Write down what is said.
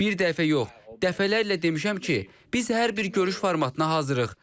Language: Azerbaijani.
Bir dəfə yox, dəfələrlə demişəm ki, biz hər bir görüş formatına hazırıq.